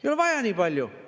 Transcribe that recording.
Ei ole vaja nii palju!